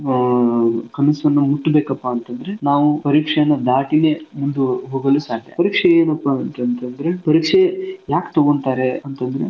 ಅಹ್ ಕನಸನ್ನ ಮುಟ್ಬೇಕಪಾ ಅಂತಂದ್ರೆ ನಾವು ಪರೀಕ್ಷೆಯನ್ನ ದಾಟಿನೇ ಮುಂದು ಹೋಗಲು ಸಾಧ್ಯ. ಪರೀಕ್ಷೆ ಏನಪಾ ಅಂತಂತಂದ್ರೆ ಪರೀಕ್ಷೆ ಯಾಕ್ ತೊಗೋಂತಾರೆ ಅಂತಂದ್ರೆ.